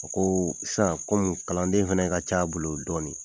O koo san kɔmu kalanden fɛnɛ ka c'a bolo dɔɔni